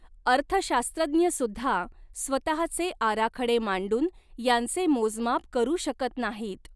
अर्थशास्त्रज्ञसुद्धा स्वतःचे आराखडे मांडून यांचे मोजमाप करू शकत नाहीत.